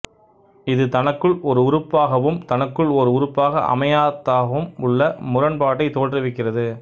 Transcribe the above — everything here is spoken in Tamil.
இது தனக்குள் ஒரு உறுப்பாகவும் தனக்குள் ஓர் உறுப்பாக அமையாத்தாகவும் உள்ள முரண்பாட்டைத் தோற்றுவிக்கிறது